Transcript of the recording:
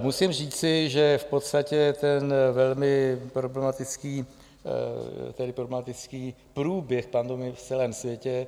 Musím říci, že v podstatě ten velmi problematický průběh pandemie v celém světě